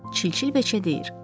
Çilçil beçə deyir: